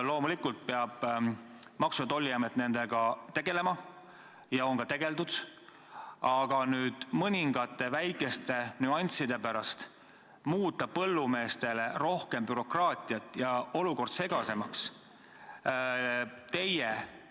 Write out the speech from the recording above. Loomulikult peab Maksu- ja Tolliamet nendega tegelema ja on ka tegelenud, aga nüüd tahate mõningate väikeste nüansside pärast põllumeestele tekitada rohkem bürokraatiat ja olukorda segasemaks ajada.